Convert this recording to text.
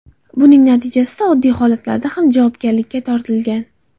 Buning natijasida oddiy holatlarda ham javobgarlikka tortilgan.